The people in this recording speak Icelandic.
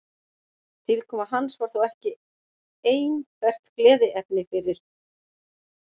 Tilkoma hans var þó ekki einbert gleðiefni fyrir